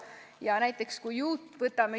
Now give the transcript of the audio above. Võtame näiteks YouTube'i.